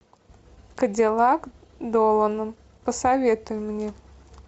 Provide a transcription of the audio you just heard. кадиллак долана посоветуй мне